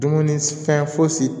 Dumuni fɛn fosi